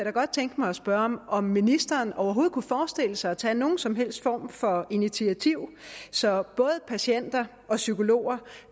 godt tænke mig at spørge om om ministeren overhovedet kunne forestille sig at tage nogen som helst form for initiativ så både patienter og psykologer